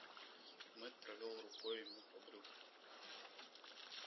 мэтт провёл рукой ему по брюху